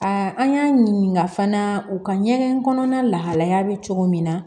an y'a ɲininka fana u ka ɲɛgɛn kɔnɔna lahalaya bɛ cogo min na